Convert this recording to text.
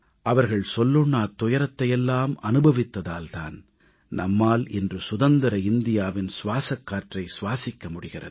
அவர்கள் சொல்லொண்ணாத் துயரத்தை எல்லாம் அனுபவித்ததால் தான் நம்மால் இன்று சுதந்திர இந்தியாவின் சுவாசக் காற்றை சுவாசிக்க முடிகிறது